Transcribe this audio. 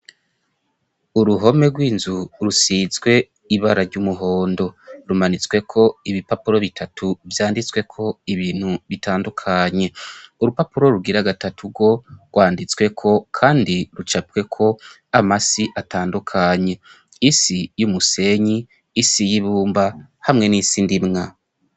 Uruhome rw'inzu rusizwe ibara ry'umuhondo. Rumanitsweko ibipapuro bitatu vyanditseko ibintu bitandukanye. Urupapuro rugira gatatu rwo rwanditsweko kandi rucapweko amasi atandukanye:isi y'umusenyi, isi y'ibumba hamwe n'isi ndimwa.